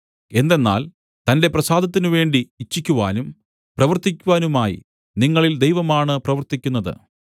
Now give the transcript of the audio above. എന്തെന്നാൽ തന്റെ പ്രസാദത്തിനുവേണ്ടി ഇച്ഛിക്കുവാനും പ്രവർത്തിക്കുവാനുമായി നിങ്ങളിൽ ദൈവമാണ് പ്രവർത്തിക്കുന്നത്